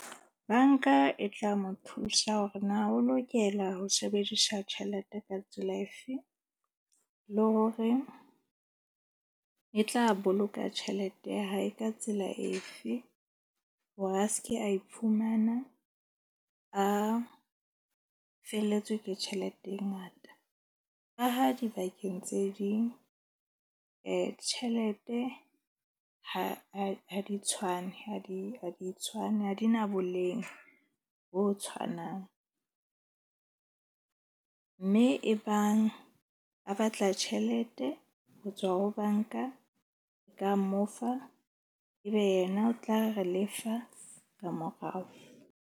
Bank-a e tla mo thusa hore na o lokela ho sebedisa tjhelete ka tsela efe, le hore e tla boloka tjhelete ya hae ka tsela efe. Hore a ske a iphumana a felletswe ke tjhelete e ngata. Ka ha dibakeng tse ding tjhelete ha di tshwane, ha di tshwane. Ha di na boleng bo tshwanang mme ebang a batla tjhelete ho tswa ho bank-a ka mo fa, ebe yena o tla re lefa ka morao.